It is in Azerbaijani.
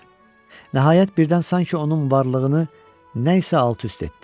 Nəhayət, birdən sanki onun varlığını nə isə alt-üst etdi.